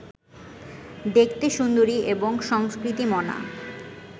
দেখতে সুন্দরী এবং সংস্কৃতিমনা